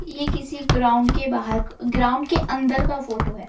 ये किसी ग्राउंड के बाहर ग्राउंड के अंदर का फोटो है।